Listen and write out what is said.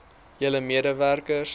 julle mede werkers